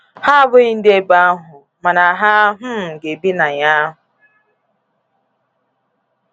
Ha abụghị ndị ebe ahụ, mana ha um ga-ebi na ya.